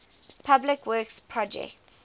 public works projects